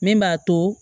Min b'a to